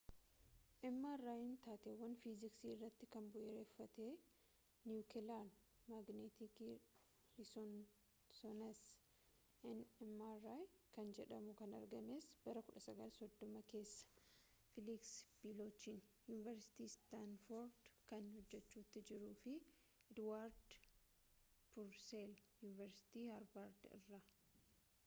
mrin taateewwan fiiziksii irratti kan bu’uureffate niwukelaar maagneetik resonaansii nmr kan jedhamu kan argamees bara 1930 keessa feeliksi bilochiin yuuniversitii istaanford kan hojjachuutti jiru fi ediwaard purseelii yuuniversitii haarvaard irraa